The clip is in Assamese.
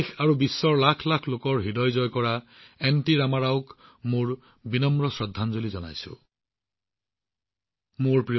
মই এনটি ৰামা ৰাওজীলৈ মোৰ বিনম্ৰ শ্ৰদ্ধাঞ্জলি জ্ঞাপন কৰিছো যিয়ে দেশ আৰু বিশ্বৰ লাখ লাখ লোকৰ হৃদয়ত শাসন কৰিছিল